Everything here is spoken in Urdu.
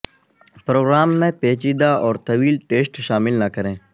پروگرام میں پیچیدہ اور طویل ٹیسٹ شامل نہ کریں